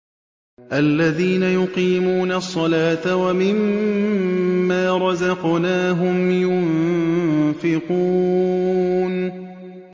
الَّذِينَ يُقِيمُونَ الصَّلَاةَ وَمِمَّا رَزَقْنَاهُمْ يُنفِقُونَ